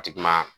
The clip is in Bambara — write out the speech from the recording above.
A ti kuma